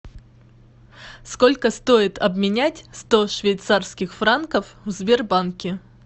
сколько стоит обменять сто швейцарских франков в сбербанке